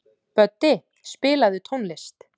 Böddi, spilaðu tónlist.